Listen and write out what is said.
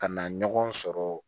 Ka na ɲɔgɔn sɔrɔ